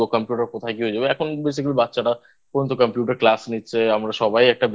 Computer কোথায় কি হয়ে যাবে এখন Basically বাচ্চারা পর্যন্ত Computer Class নিচ্ছে আমরা সবাই একটা